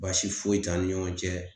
Baasi foyi t'an ni ɲɔgɔn cɛ